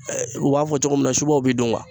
u b'a fɔ cogo min na subaw b'i dun ŋuwa